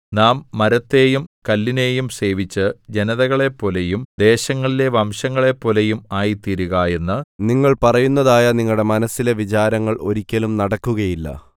നാം മരത്തെയും കല്ലിനെയും സേവിച്ച് ജനതകളെപ്പോലെയും ദേശങ്ങളിലെ വംശങ്ങളെപ്പോലെയും ആയിത്തീരുക എന്ന് നിങ്ങൾ പറയുന്നതായ നിങ്ങളുടെ മനസ്സിലെ വിചാരം ഒരിക്കലും നടക്കുകയില്ല